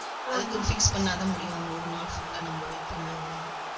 அதுக்கு fix பண்ணா தான் முடியும். ஒரு நாள் full ஆ நம்ம wait பண்ணியாகணும்.